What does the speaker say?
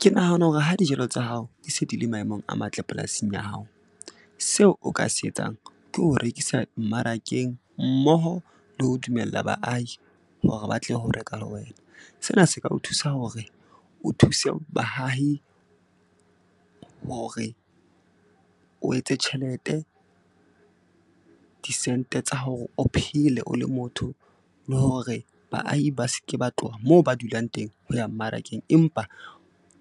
Ke nahana hore ha dijalo tsa hao ke se di le maemong a matle polasing ya hao, seo o ka se etsang ke ho rekisa mmarakeng mmoho le ho dumella baahi hore ba tle ho reka le wena. Sena se ka o thusa hore o thuse bahahi hore o etse tjhelete, disente tsa hore o phele o le motho. Le hore baahi ba ske ba tloha moo ba dulang teng ho ya mmarakeng, empa